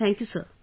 Thank you, sir